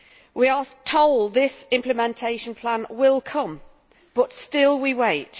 We are told this implementation plan will come, but still we wait.